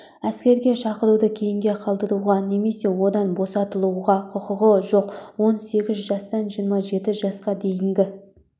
әскерге шақыруды кейінге қалдыруға немесе одан босатылуға құқығы жоқ он сегіз жастан жиырма жеті жасқа дейінгі